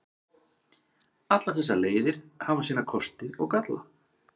Allar þessar leiðir hafa sína kosti og galla.